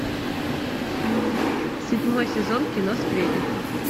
седьмой сезон кино сплетница